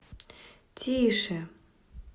тише